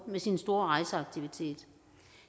med sin store rejseaktivitet